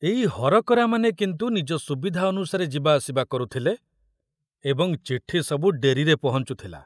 ଏଇ ହରକରାମାନେ କିନ୍ତୁ ନିଜ ସୁବିଧା ଅନୁସାରେ ଯିବାଆସିବା କରୁଥିଲେ ଏବଂ ଚିଠି ସବୁ ଡେରିରେ ପହଞ୍ଚୁଥିଲା।